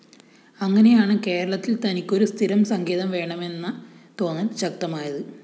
അങ്ങനെയാണ് കേരളത്തില്‍ തനിക്കൊരു സ്ഥിരം സങ്കേതം വേണമെന്ന തോന്നല്‍ ശക്തമായത്